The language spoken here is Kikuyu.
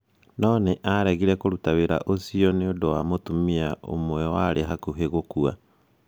No nĩ aaregire kũruta wĩra ũcio nĩ ũndũ wa mũtumia ũmwe warĩ hakuhĩ gũkua.